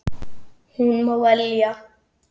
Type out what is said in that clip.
Hún má velja.